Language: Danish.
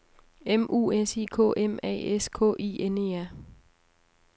M U S I K M A S K I N E R